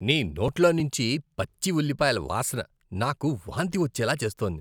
నీ నోట్లోంచి పచ్చి ఉల్లిపాయల వాసన నాకు వాంతి వచ్చేలా చేస్తోంది.